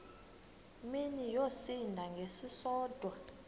mini yosinda ngesisodwa